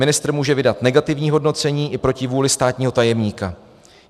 Ministr může vydat negativní hodnocení i proti vůli státního tajemníka.